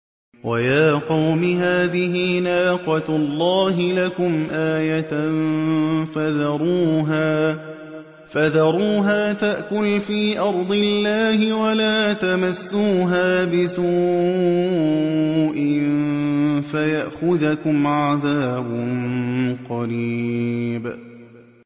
وَيَا قَوْمِ هَٰذِهِ نَاقَةُ اللَّهِ لَكُمْ آيَةً فَذَرُوهَا تَأْكُلْ فِي أَرْضِ اللَّهِ وَلَا تَمَسُّوهَا بِسُوءٍ فَيَأْخُذَكُمْ عَذَابٌ قَرِيبٌ